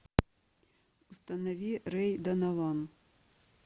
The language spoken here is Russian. установи рэй донован